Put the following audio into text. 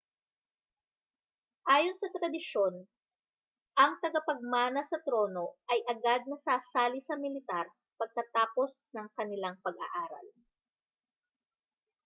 ayon sa tradisyon ang tagapagmana sa trono ay agad na sasali sa militar pagkatapos ng kanilang pag-aaral